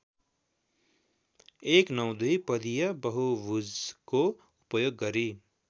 १९२ पदिय बहुभुजको उपयोग गरि